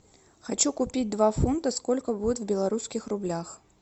хочу купить два фунта сколько будет в белорусских рублях